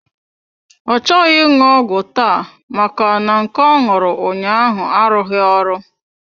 Ọ chọghị ịṅụ ọgwụ taa maka na nke ọ ṅụrụ ụnyaahụ arughi ọrụ.